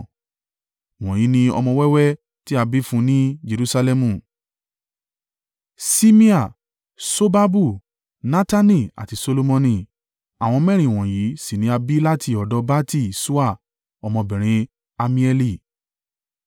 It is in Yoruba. Wọ̀nyí ni ọmọ wẹ́wẹ́ tí a bí fún un ní Jerusalẹmu: Ṣimea, Ṣobabu, Natani àti Solomoni. Àwọn mẹ́rin wọ̀nyí sì ni a bí láti ọ̀dọ̀ Bati-Ṣua ọmọbìnrin Ammieli.